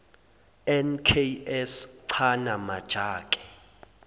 nks chana majake